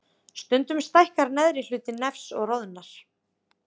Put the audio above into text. Stundum stækkar neðri hluti nefs og roðnar.